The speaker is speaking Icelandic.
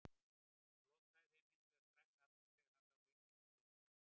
Hann lokaði þeim hins vegar strax aftur þegar hann sá Vigdísi í dyrunum.